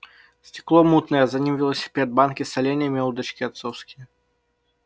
стекло мутное а за ним велосипед банки с соленьями удочки отцовские